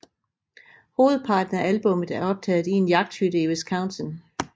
Hovedparten af albummet er optaget i en jagthytte i Wisconsin